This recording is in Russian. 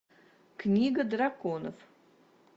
книга драконов